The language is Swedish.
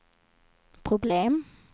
problem